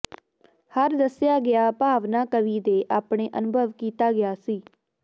ਹਰ ਦੱਸਿਆ ਗਿਆ ਭਾਵਨਾ ਕਵੀ ਦੇ ਆਪਣੇ ਅਨੁਭਵ ਕੀਤਾ ਗਿਆ ਸੀ